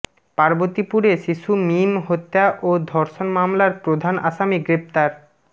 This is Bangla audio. পার্বতীপুরে শিশু মীম হত্যা ও ধর্ষণ মামলার প্রধান আসামি গ্রেপ্তার